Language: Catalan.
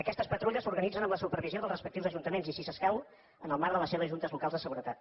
aquestes patrulles s’organitzen amb la supervisió dels respectius ajuntaments i si escau en el marc de les seves juntes locals de seguretat